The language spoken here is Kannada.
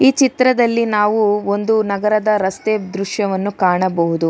ಈ ಚಿತ್ರದಲ್ಲಿ ನಾವು ಒಂದು ನಗರದ ರಸ್ತೆ ದೃಶ್ಯವನ್ನು ಕಾಣಬಹುದು.